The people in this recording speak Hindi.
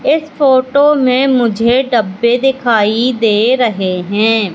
इस फोटो में मुझे डब्बे दिखाई दे रहे हैं।